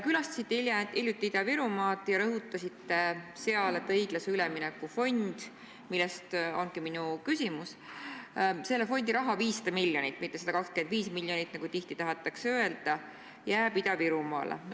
Külastasite hiljuti Ida-Virumaad ja rõhutasite seal, et õiglase ülemineku fondi raha 500 miljonit – mitte 125 miljonit, nagu tihti on öeldud – jääb Ida-Virumaale.